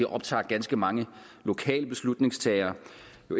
optager ganske mange lokale beslutningstagere